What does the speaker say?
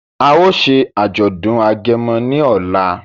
A o ṣe ajọdun Agẹmọ ní ọlá